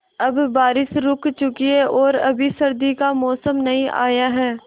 अब बारिशें रुक चुकी हैं और अभी सर्दी का मौसम नहीं आया है